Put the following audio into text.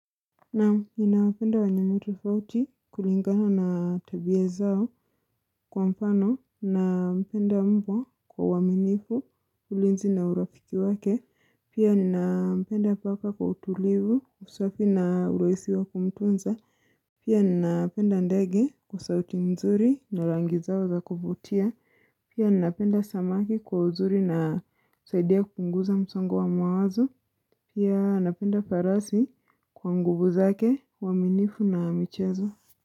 Naam, ninawapenda walimu tofauti kulingana na tabia zao kwa mfano, nampenda mbwa kwa uaminifu ulinzi na urafiki wake, pia ninampenda paka kwa utulivu, usafi na urahisi wa kumtunza, pia nina penda ndege, kwa sauti mzuri na rangi zao za kuvutia, pia ninapenda samaki kwa uzuri na husaidia kupunguza msongo wa mawazo, pia napenda farasi, kwa nguvu zake, uaminifu na michezo.